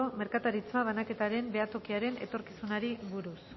merkataritza banaketaren behatokiaren etorkizunari buruz